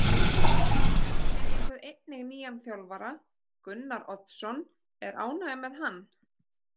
Þið fenguð einnig nýjan þjálfara, Gunnar Oddsson, er ánægja með hann?